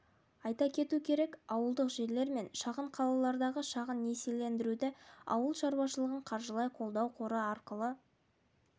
айта кету керек ауылдық жерлер мен шағын қалалардағы шағын несиелендіруді ауыл шаруашылығын қаржылай қолдау қоры арқылы